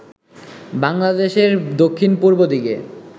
বাংলাদেশের দক্ষিণ-পূর্ব দিকে